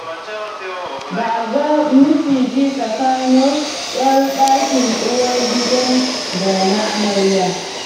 Ba a ga miciji tsakanin 'yan ɗakin uwar gidan da na amarya.